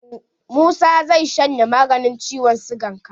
Musa zai shanye maganin ciwon sigan ka.